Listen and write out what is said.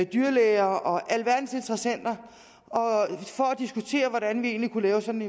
dyrlæger og alverdens interessenter for at diskutere hvordan vi egentlig kunne lave sådan